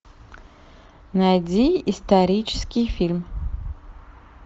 найди исторический фильм